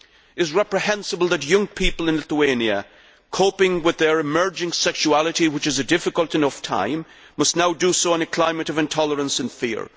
It is reprehensible that young people in Lithuania coping with their emerging sexuality which is a difficult enough time must now do so in a climate of intolerance and fear.